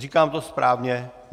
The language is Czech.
Říkám to správně?